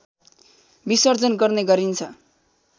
विसर्जन गर्ने गरिन्छ